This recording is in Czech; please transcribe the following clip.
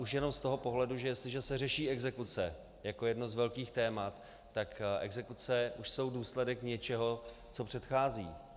Už jen z toho pohledu, že jestliže se řeší exekuce jako jedno z velkých témat, tak exekuce už jsou důsledek něčeho, co předchází.